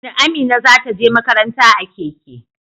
Amina za ta je makaranta a keke.